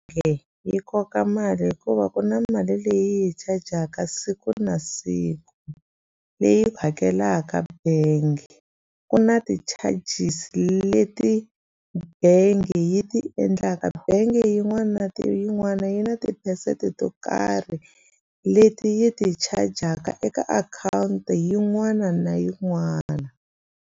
yi koka mali hikuva ku na mali leyi yi chajaka siku na siku leyi hakelaka bank ku na ti-charges leti bengi yi ti endlaka bengi yin'wana na ti yin'wana yi na tiphesenti to karhi leti yi ti chajaka eka akhawunti yin'wana na yin'wana.